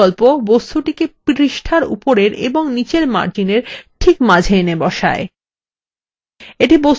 centre বিকল্প বস্তুটিকে পৃষ্ঠার উপরের এবং নীচের margins ঠিক মাঝে এনে বসায়